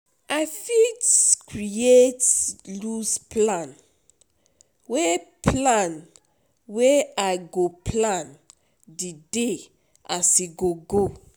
I fit create loose plan wey plan wey I go plan di day as e dey go.